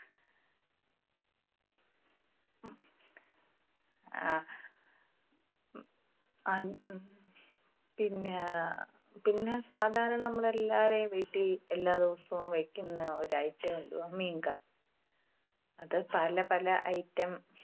അഹ് ഉം പിന്നെ, പിന്നെ സാധാരണ നമ്മള് എല്ലാവരുടെയും വീട്ടിൽ എല്ലാ ദിവസവും വയ്ക്കുന്ന ഒരു item എന്തുവാ? മീൻകറി. അത് പല പല item